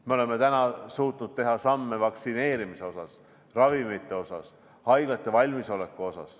Me oleme suutnud teha samme vaktsineerimise kohta, ravimite kohta, haiglate valmisoleku kohta.